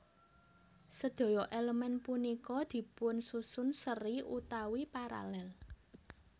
Sedaya elemen punika dipunsusun seri utawi paralel